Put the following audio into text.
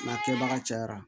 N'a kɛbaga cayara